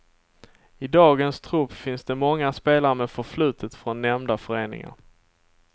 I dagens trupp finns det många spelare med förflutet från nämnda föreningar.